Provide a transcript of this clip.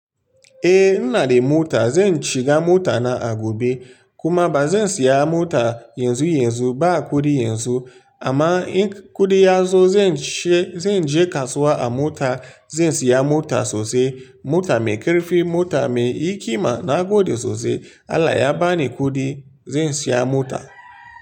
Eh, ina da mota. Zan shiga mota na a gobe kuma ba zan saya mota yanzu yanzu ba kuɗi yanzu. Amma in kuɗi ya zo, zan je kasuwa a mota, zan saya mota sosai. Mota mai ƙarfi, mota mai hikima na gode sosai. Allah ya bani kuɗi zan saya mota.